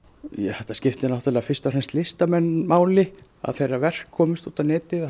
þetta skiptir fyrst og fremst listamenn máli að þeirra verk komist á netið og